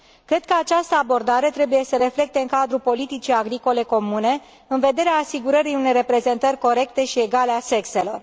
Cred că această abordare trebuie să se reflecte în cadrul Politicii agricole comune, în vederea asigurării unei reprezentări corecte și egale a sexelor.